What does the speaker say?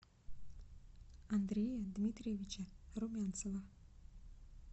андрея дмитриевича румянцева